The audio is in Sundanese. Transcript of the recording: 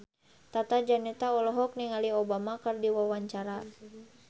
Tata Janeta olohok ningali Obama keur diwawancara